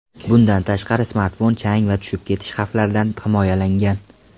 Bundan tashqari smartfon chang va tushib ketish xavflaridan himoyalangan.